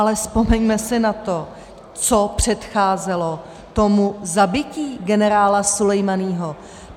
Ale vzpomeňme si na to, co předcházelo tomu zabití generála Sulejmáního.